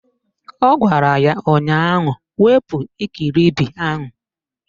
Ọ gwara ya ụnyaahụ "Wepu ikiribi ahụ"!